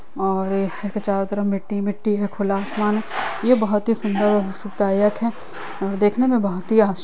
और यहाॅं के चारों तरफ मिट्टी हीमिट्टी हैं खुला आसमान है। यह बोहोत ही सुंदर और सुखदायक है देखने मे बोहोत ही आस --